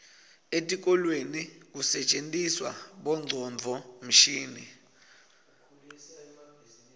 etikolweni kusetjentiswa bongcondvomshini